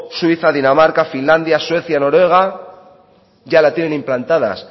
suiza dinamarca finlandia suecia noruega ya la tienen implantadas